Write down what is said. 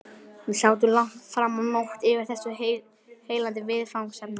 Við sátum langt framá nótt yfir þessu heillandi viðfangsefni.